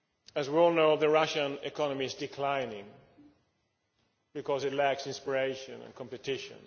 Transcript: As we all know, the Russian economy is declining, because it lacks inspiration and competition.